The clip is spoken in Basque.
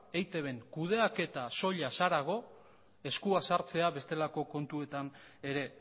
eitbn kudeaketa soilaz harago eskua sartzea bestelako kontuetan ere